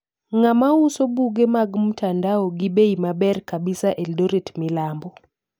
Ngamauso buge mag mtandao gi bei maber kabisa eldoret milambo?